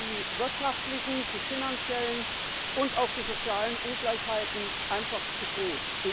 Dazu sind die wirtschaftlichen, die finanziellen und auch die sozialen Ungleichheiten einfach zu groß.